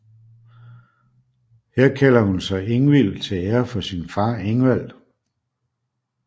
Her kalder hun sig Ingvild til ære for sin far Ingvald